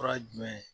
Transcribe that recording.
Fura ye jumɛn ye